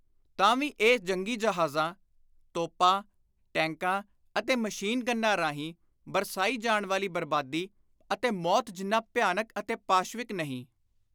ਤਾਂ ਵੀ ਇਹ ਜੰਗੀ ਜਹਾਜ਼ਾਂ, ਤੋਪਾਂ, ਟੈਕਾਂ ਅਤੇ ਮਸ਼ੀਨ-ਗੰਨਾਂ ਰਾਹੀਂ ਬਰਸਾਈ ਜਾਣ ਵਾਲੀ ਬਰਬਾਦੀ ਅਤੇ ਮੌਤ ਜਿੰਨਾ ਭਿਆਨਕ ਅਤੇ ਪਾਸ਼ਵਿਕ ਨਹੀਂ।